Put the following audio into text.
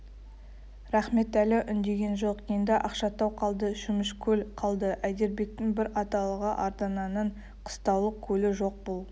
рахметәлі үндеген жоқ енді ақшатау қалды шөмішкөл қалды әйдербектің бір аталығы ардананың қыстаулық көлі жоқ бұл